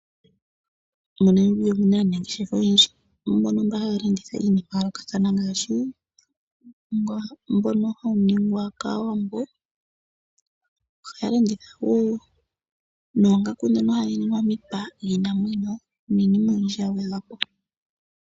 Mo Namibia omuna aanangeshefa mbono haya landitha iinima ya yoolokathana ngaashi uunima mbono hawu ningwa kaawambo, ohaya landitha wo oongaku ndhoka hadhi ningwa miipa yiinamwmeyo niinima oyindji ya gwedhwa po.